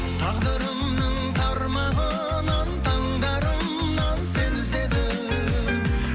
тағдырымның тармағынан таңдарынан сені іздедім